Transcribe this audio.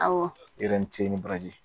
Awɔ yɔrɔ ni ce ni baraji